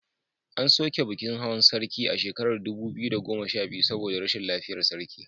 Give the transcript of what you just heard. An soke bikin hawan sarki a shekarar dubu biyu da goma sha biyu saboda rashin lafiyar sarki.